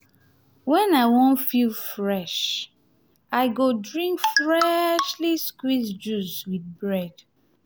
when i wan feel fresh i go drink freshly squeezed juice with bread.